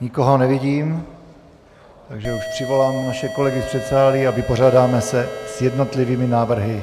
Nikoho nevidím, takže už přivolám naše kolegy z předsálí a vypořádáme se s jednotlivými návrhy,